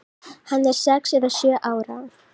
Hann er sex eða sjö ára.